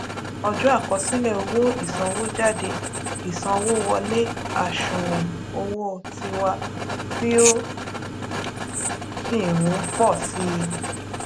ọjọ àkosile owo ìsanwójádé ìsanwówọlé àṣùwòn owó tiwa tí ó sì n pò sí i